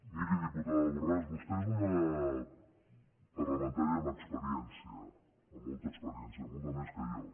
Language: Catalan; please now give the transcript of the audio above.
miri diputa·da borràs vostè és una parlamentària amb experièn·cia amb molta experiència molta més que jo